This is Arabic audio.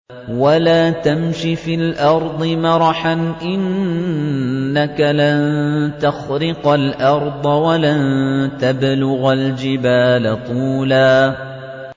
وَلَا تَمْشِ فِي الْأَرْضِ مَرَحًا ۖ إِنَّكَ لَن تَخْرِقَ الْأَرْضَ وَلَن تَبْلُغَ الْجِبَالَ طُولًا